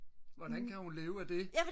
hvordan kan hun leve af det